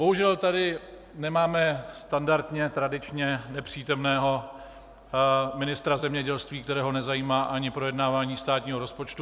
Bohužel tady nemáme standardně tradičně nepřítomného ministra zemědělství, kterého nezajímá ani projednávání státního rozpočtu.